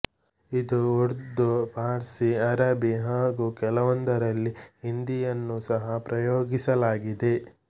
ಇದು ಉರ್ದು ಫಾರ್ಸಿ ಅರಬಿ ಹಾಗೂ ಕೆಲವೊಂದರಲ್ಲಿ ಹಿಂದಿಯನ್ನೂ ಸಹ ಪ್ರಯೋಗಿಸಲಾಗಿದೆ